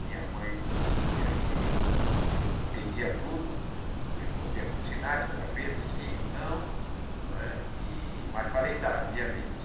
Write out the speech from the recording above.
Minha mãe dizia que eu entendia tudo, respondia com sinais, com a cabeça, sim ou não, não é e mas falei tardiamente.